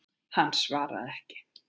Hann svaraði ekki.